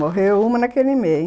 Morreu uma naquele mês.